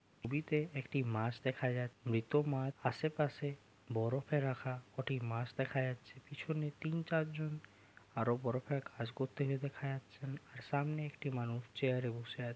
ছবিটিতে একটি মাছ দেখা যাক মৃত মাছ আশেপাশে বরফে রাখা কটি মাছ দেখা যাচ্ছে পেছনে তিন চারজন আরো বড় কাজ করতে যেতে দেখা যাচ্ছেন আর সামনে একটি মানুষ চেয়ার -এ বসে --